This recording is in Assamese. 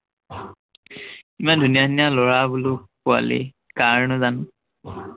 ইমান ধুনীয়া ধুনীয়া লৰা বোলো, পোৱালী কাৰ নো জানো?